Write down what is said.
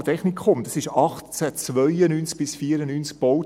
– Das kantonale Technikum wurde 1892 bis 1894 gebaut.